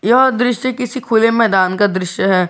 यह दृश्य किसी खुले मैदान का दृश्य है।